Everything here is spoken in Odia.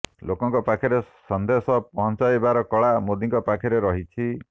ଲୋକଙ୍କ ପାଖରେ ସନ୍ଦେଶ ପହଞ୍ଚାଇବାର କଳା ମୋଦିଙ୍କ ପାଖରେ ରହିଛି